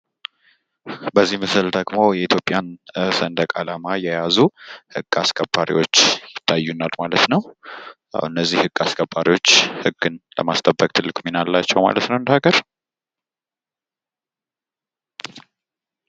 በዚህ ምስል ደግሞ የኢትዮጵያን ሰንደቅ ዓላማ የያዙ ህግ አስከባሪዎች ይታዩናል ማለት ነው እነዚህ ህግ አስከባሪዎች ህግን ለማስጠበቅ ትልቅ ሚና አላቸው ማለት ነው።